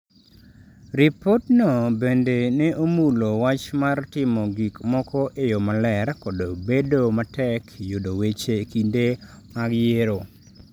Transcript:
Ripotno bende ne omulo wach mar timo gik moko e yo maler kod bedo matek yudo weche e kinde mag yiero.